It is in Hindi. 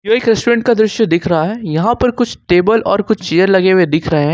एक रेस्टोरेंट का दृश्य दिख रहा है यहां पर कुछ टेबल और कुछ चेयर लगे हुए दिख रहे हैं।